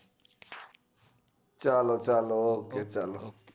ચાલો ચાલો okay ચાલો